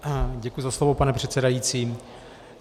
Děkuji za slovo, pane předsedající.